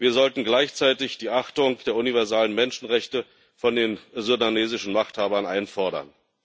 Wir sollten gleichzeitig die Achtung der universalen Menschenrechte von den sudanesischen Machthabern einfordern.